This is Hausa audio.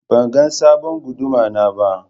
Ban ga sabon Guduma na ba.